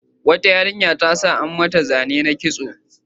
Wata yarinya ta sa an yi mata zane na kitso.